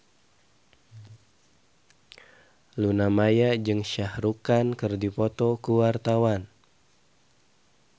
Luna Maya jeung Shah Rukh Khan keur dipoto ku wartawan